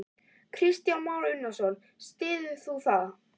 Kristján Már Unnarsson: Styður þú það?